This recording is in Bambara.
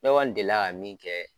Ne kɔni delila ka min kɛ.